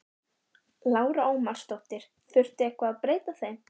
Lára Ómarsdóttir: Þurfti eitthvað að breyta þeim?